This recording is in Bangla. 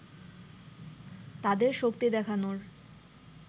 তাদের শক্তি দেখানোর